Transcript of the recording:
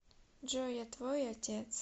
джой я твой отец